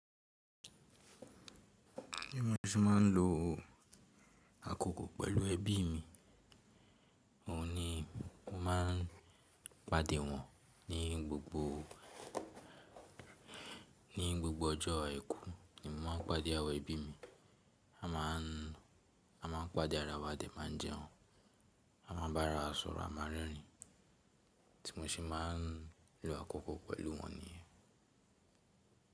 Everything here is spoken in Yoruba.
Bí mo ṣe máa ń lo àkókò pẹ̀lú ẹbí mi, òun ni mo máa ń pàdé wọn ní gbogbo, ní gbogbo ọjọ́ àìkú ni mo máa ń pàdé àwọn ẹbí mi. A máà ń, a máà ń pàdé ara wa a dè máa n jẹun, a máa bá ara wa sọ̀rọ̀, a máa ń rẹ́rìn ín. Tí mo ṣe máa ń lo àkókò pẹ̀lú wọn nìyẹn.